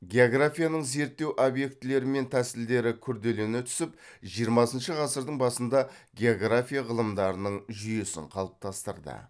географияның зерттеу объектілері мен тәсілдері күрделене түсіп жиырмасыншы ғасырдың басында география ғылымдарының жүйесін қалыптастырды